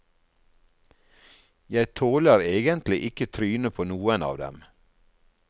Jeg tåler egentlig ikke trynet på noen av dem.